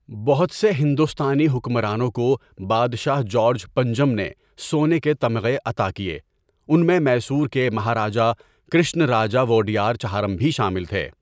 بہت سے ہندوستانی حکمرانوں کو بادشاہ جارج پنجم نے سونے کے تمغہ عطا کئے، ان میں میسور کے مہاراجہ کرشناراجہ وؤڈیار چہارم بھی شامل تھے.